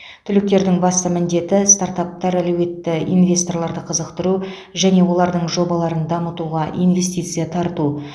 түлектердің басты міндеті стартаптар әлеуетті инвесторларды қызықтыру және олардың жобаларын дамытуға инвестиция тарту